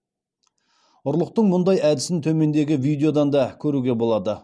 ұрлықтың мұндай әдісін төмендегі видеодан да көруге болады